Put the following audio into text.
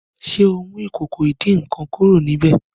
ṣe ọ mú Ìkòkò ìdín-nǹkan kúrò níbẹ?